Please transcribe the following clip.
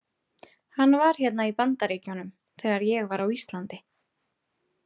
Hann var hérna í Bandaríkjunum þegar ég var á Íslandi.